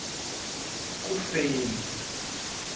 kufeni